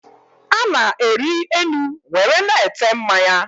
Ana-eri enu nwere na-ete mmanya